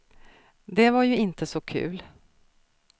Det var ju inte så kul.